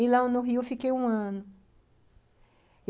E, lá no Rio, eu fiquei um ano.